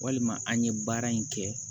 Walima an ye baara in kɛ